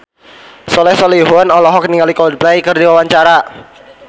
Soleh Solihun olohok ningali Coldplay keur diwawancara